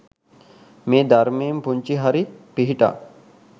මේ ධර්මයෙන් පුංචි හරි පිහිටක්